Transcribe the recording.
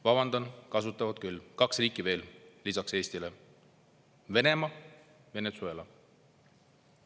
Vabandan, kasutavad küll, kaks riiki veel lisaks Eestile: Venemaa ja Venezuela.